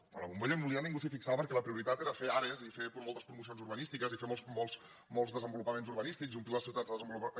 quan la bombolla immobiliària ningú s’hi fixava perquè la prioritat era fer àrees i fer moltes promocions urbanístiques i fer molts desenvo·lupaments urbanístics i omplir les ciutats de desen·volupaments